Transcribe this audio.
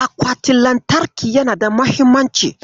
Akwatin lantarki yana da mahimmanci.